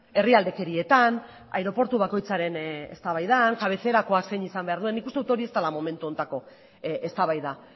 herrialdekerietan aireportu bakoitzaren eztabaidan kabezerakoa zein izan behar duen nik uste dut hori ez dela momentu honetako eztabaida